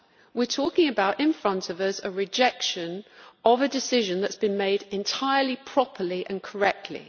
We are talking about in front of us a rejection of a decision that has been made entirely properly and correctly.